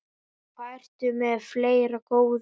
Hvað ertu með fleira, góða?